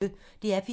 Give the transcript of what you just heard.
DR P1